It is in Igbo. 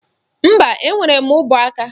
Mba, enwere m ụbọaka